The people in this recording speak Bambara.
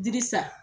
Dili san